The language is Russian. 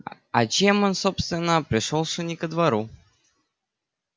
а чем он собственно пришёлся не ко двору